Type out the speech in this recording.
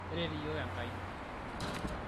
keret iyiok Enkai